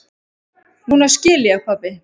Núna skil ég, pabbi.